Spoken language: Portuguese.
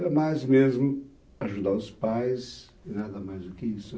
Era mais mesmo ajudar os pais e nada mais do que isso.